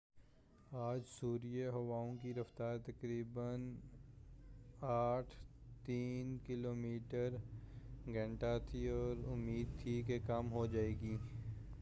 آج سویرے ہوائؤں کی رفتار تقریباً 83 کلومیٹر فی گھنٹہ تھی اور امید تھی کہ کم ہو جائے گی